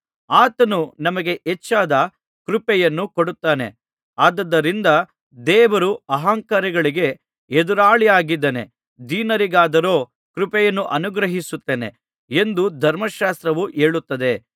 ಆತನು ನಮಗೆ ಹೆಚ್ಚಾದ ಕೃಪೆಯನ್ನು ಕೊಡುತ್ತಾನೆ ಆದುದರಿಂದ ದೇವರು ಅಹಂಕಾರಿಗಳಿಗೆ ಎದುರಾಳಿಯಾಗಿದ್ದಾನೆ ದೀನರಿಗಾದರೋ ಕೃಪೆಯನ್ನು ಅನುಗ್ರಹಿಸುತ್ತಾನೆ ಎಂದು ಧರ್ಮಶಾಸ್ತ್ರವು ಹೇಳುತ್ತದೆ